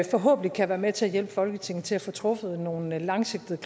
forhåbentlig kan være med til at hjælpe folketinget til at få truffet nogle langsigtede